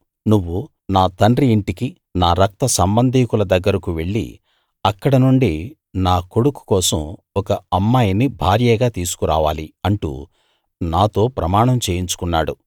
నువ్వు నా తండ్రి ఇంటికీ నా రక్త సంబధికుల దగ్గరకూ వెళ్ళి అక్కడ నుండి నా కొడుకు కోసం ఒక అమ్మాయిని భార్యగా తీసుకు రావాలి అంటూ నాతో ప్రమాణం చేయించుకున్నాడు